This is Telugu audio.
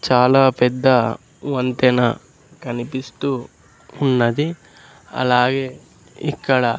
చాలా పెద్ద వంతెన కనిపిస్తూ ఉన్నది అలాగే ఇక్కడ--